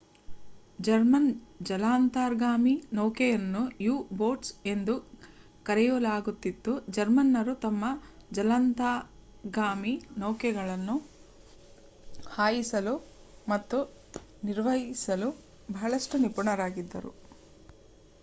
German ಜಲಾಂತರ್ಗಾಮಿ ನೌಕೆಗಳನ್ನು U boats ಎಂದು ಕರೆಯಲಾಗುತ್ತಿತ್ತು ಜರ್ಮನ್ನರು ತಮ್ಮ ಜಲಾಂತರ್ಗಾಮಿ ನೌಕೆಗಳನ್ನು ಹಾಯಿಸಲು ಮತ್ತು ನಿರ್ವಹಿಸಲು ಬಹಳಷ್ಟು ನಿಪುಣರಾಗಿದ್ದರು